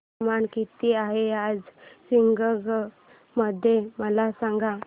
तापमान किती आहे आज शिवगंगा मध्ये मला सांगा